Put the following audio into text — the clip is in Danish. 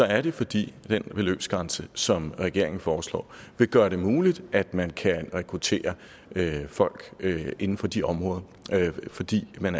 er det fordi den beløbsgrænse som regeringen foreslår vil gøre det muligt at man kan rekruttere folk inden for de områder altså fordi man